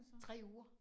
3 uger